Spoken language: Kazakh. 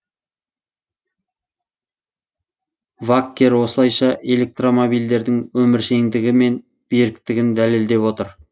ваккер осылайша электромобильдердің өміршеңдігі мен беріктігін дәлелдеп отыр